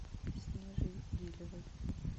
снежей гилевой